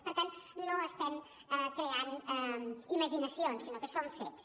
per tant no estem creant imaginacions sinó que són fets